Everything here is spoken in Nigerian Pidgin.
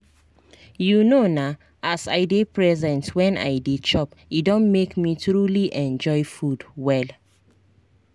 you know na as i dey present when i dey chop e don make me truly enjoy food well.